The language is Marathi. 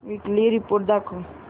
वीकली रिपोर्ट दाखव